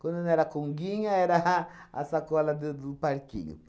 Quando não era a conguinha, era a a sacola do do parquinho.